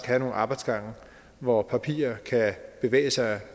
have nogle arbejdsgange hvor papirer kan bevæge sig